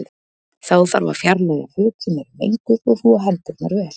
Þá þarf að fjarlæga föt sem eru menguð og þvo hendurnar vel.